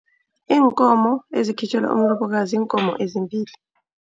Iinkomo ezikhitjhelwa umlobokazi ziinkomo ezimbili.